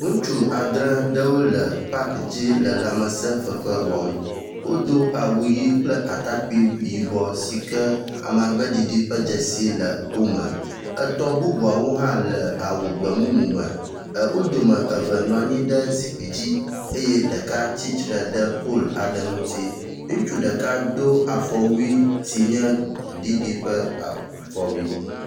ŋutsu adre aɖewo le pakidzi le lãmesē fefe wɔm wó dó awu yi kple atakpui yibɔ sike amagbeɖiɖi ƒe dzesi le wome etɔ̃ bubuawo hã le awu gbemumu me wó dome eve nɔanyi ɖe zikpi dzi eye ɖeka tsitsre ɖe pol aɖe ŋutsi ŋutsu ɖeka do afɔwui si nye gbe ɖiɖi ƒe dzesi